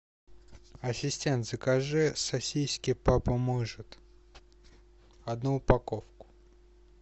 ассистент закажи сосиски папа может одну упаковку